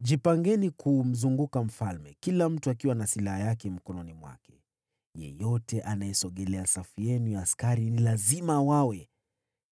Jipangeni kumzunguka mfalme, kila mtu akiwa na silaha yake mkononi. Yeyote anayesogelea safu zenu lazima auawe.